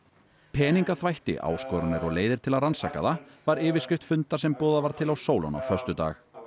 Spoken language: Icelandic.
peningaþvætti áskoranir og leiðir til að rannsaka það var yfirskrift fundar sem boðað var til á Sólon á föstudag